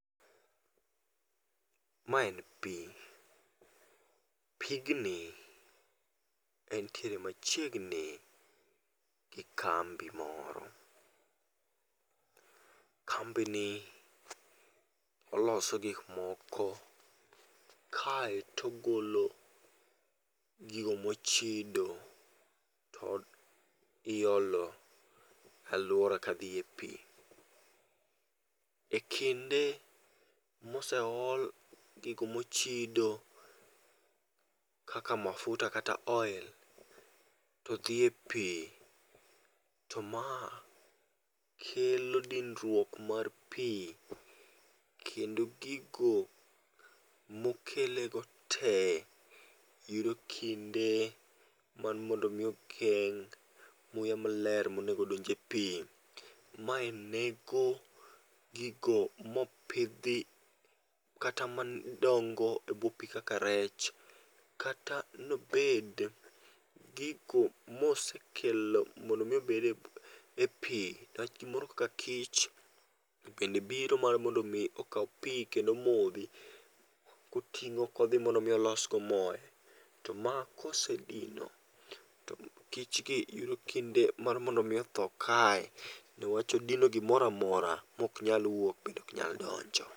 Ma en pi, pigni entiere machiegni e kambi moro .Kambi ni oloso gik moko kae to ogolo gigo mo chido to iolo e aluora ka dhi e pi. E kinde ma oseol gigo mo chido kaka mafuta kata oil to dhi e pi to ma kelo dinruok mar pi kendo gigo ma okelo go te gi e kinde mar mondo mi okel muya ma ler ma onego odonj e pi ma onego gigo ma opidhi kata madongo e bwo pi kaka rech. Kata ne obed gigo ma osekelo mondo mi obed e pi, rech moro kaka kich bende biro mar mondo okaw pi kendo omodhi koting'o ko dhi mondo odhi olos godo more. To ma kosedino to mich gi yudo kinde mar mondo othoo kae ne wach odino gi moro amora ma ok inyal wuok to ok inyal donjo.